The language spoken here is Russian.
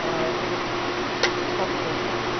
а вот как-то